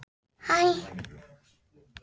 Var Guðmundur enn í rekkju þá bónda bar að garði.